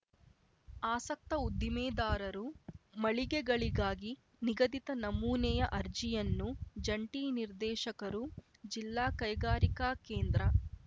ಆಸಕ್ತ ಉದ್ದಿಮೆದಾರರು ಮಳಿಗೆಗಳಿಗಾಗಿ ನಿಗದಿತ ನಮೂನೆಯ ಅರ್ಜಿಯನ್ನು ಜಂಟಿ ನಿರ್ದೇಶಕರು ಜಿಲ್ಲಾ ಕೈಗಾರಿಕಾ ಕೇಂದ್ರ